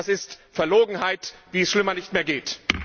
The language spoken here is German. Das ist Verlogenheit, wie es schlimmer nicht mehr geht!